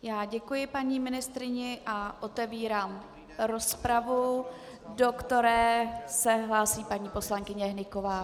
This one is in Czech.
Já děkuji paní ministryni a otevírám rozpravu, do které se hlásí paní poslankyně Hnyková.